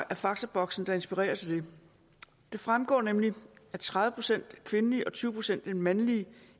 af faktaboksene der inspirerer til det det fremgår nemlig at tredive procent af de kvindelige og tyve procent af de mandlige